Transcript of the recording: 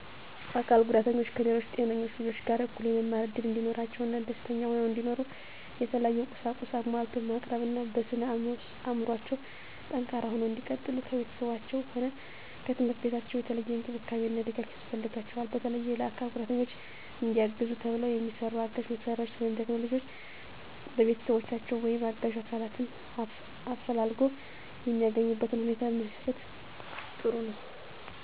አካል ጉዳተኞች ከሌሎች ጤነኞች ልጆች ጋር እኩል የመማር እድል እንዲኖራቸው እና ደስተኛ ሁነው እንዲኖሩ የተለያዩ ቁሳቁስ አሟልቶ ማቅረብ እና በስነ አዕምሮአቸው ጠንካራ ሁነው እንዲቀጥሉ ከቤተሰባቸውም ሆነ ከትምህርት ቤታቸው የተለየ እንክብካቤ እና ድጋፍ ያስፈልጋቸዋል። በተለየ ለአካል ጉዳተኞች እንዲያግዙ ተብለው የሚሰሩ አጋዥ መሳሪያዎች ወይም ቴክኖሎጅዎች በቤተሰቦቻቸው ወይም አጋዥ አካላትን አፈላልጎ የሚያገኙበትነ ሁኔታ ቢመቻች ጥሩ ነዉ።